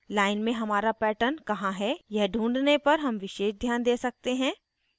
line में हमारा pattern कहाँ है यह ढूँढने पर हम विशेष ध्यान we सकते हैं